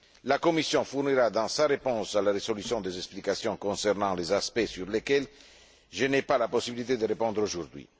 La Commission fournira, dans sa réponse à la résolution, des explications concernant les aspects sur lesquels je n'ai pas la possibilité de répondre aujourd'hui.